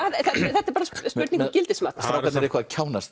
þetta er bara spurning um gildismat strákarnir eitthvað að